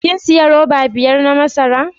Kin sayi roba biyar na masara?